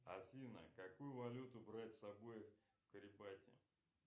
афина какую валюту брать с собой в карипати